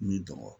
N'i dɔgɔ